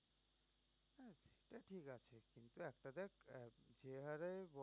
যে হাড়ে